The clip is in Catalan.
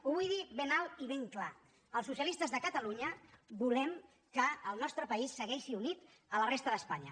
ho vull dir ben alt i ben clar el socialistes de catalunya volem que el nostre país segueixi unit a la resta d’espanya